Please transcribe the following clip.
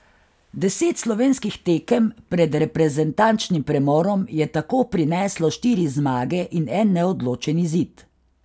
Deset slovenskih tekem pred reprezentančnim premorom je tako prineslo štiri zmage in en neodločen izid.